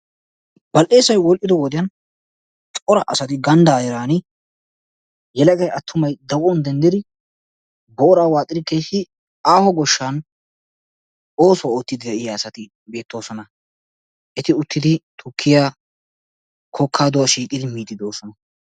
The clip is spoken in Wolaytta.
Bal"eessay woodhdhido wodiyaani cora asay ganddaa heeraan maaccay attumay daguwaan denddidi booraa waaxxidi keehi aaho gooshshan oosuwaa oottiidi de'iyaa asati beettoosona. Eti uttidi tukkiyaa kokkaaduwaa shiiqqidi miidi de'oosona.